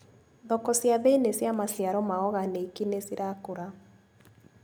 Thoko cia thĩini cia maciaro ma oganĩki nĩcirakũra.